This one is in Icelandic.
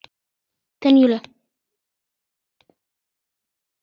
Þinn Júlíus.